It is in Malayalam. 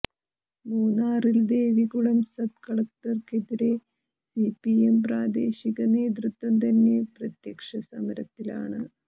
മൂന്നാറിൽ ദേവികുളം സബ് കളക്ടർക്കെതിരെ സിപിഎം പ്രാദേശിക നേതൃത്വം തന്നെ പ്രത്യക്ഷ സമരത്തിലാണ്